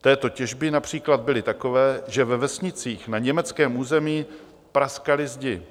této těžby například byly takové, že ve vesnicích na německém území praskaly zdi.